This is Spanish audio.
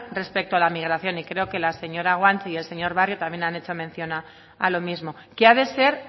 respecto a la migración y creo que la señora guanche y el señor barrio también han hecho mención a lo mismo que ha de ser